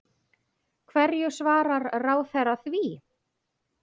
Hverju svarar ráðherra því?